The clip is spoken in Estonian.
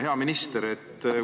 Hea minister!